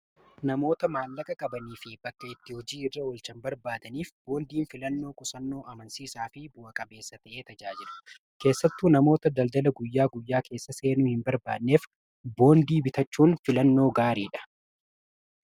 namoota maallaqa qabanii fi bakka itti hojii irra olchan barbaadaniif boondiin filannoo qusannoo amansiisaa fi bu'a-qabeessa ta'ee tajaajilu keessattu namoota daldala guyyaa guyyaa keessa seenuu hin barbaadneef boondii bitachuun filannoo gaariidha